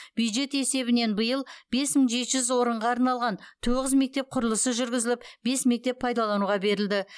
бюджет есебінен биыл бес мың жеті жүз орынға арналған тоғыз мектеп құрылысы жүргізіліп бес мектеп пайдалануға берілді